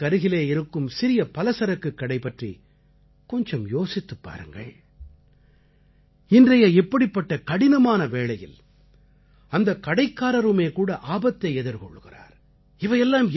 உங்கள் வீட்டுக்கருலே இருக்கும் சிறிய பலசரக்குக் கடை பற்றி கொஞ்சம் யோசித்துப் பாருங்கள் இன்றைய இப்படிப்பட்ட கடினமான வேளையில் அந்தக் கடைக்காரருமேகூட ஆபத்தை எதிர்கொள்கிறார்